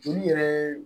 Joli yɛrɛ ye